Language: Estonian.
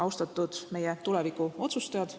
Austatud meie tuleviku otsustajad!